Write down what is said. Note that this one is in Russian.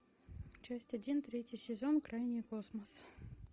часть один третий сезон крайний космос